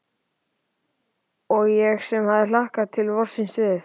Og ég sem hafði hlakkað til vorsins við